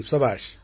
சபாஷ்